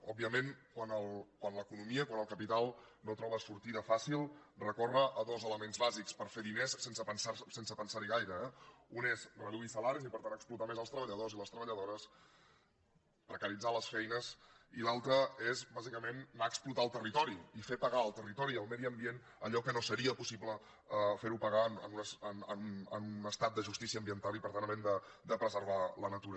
òbviament quan l’economia quan el capital no troba sortida fàcil recorre a dos elements bàsics per fer diners sense pensar hi gaire eh un és reduir salaris i per tant explotar més els treballadors i les treballadores precaritzar les feines i l’altre és bàsicament anar a explotar el territori i fer pagar al territori i al medi ambient allò que no seria possible fer ho pagar en un estat de justícia ambiental i per tant havent de preservar la natura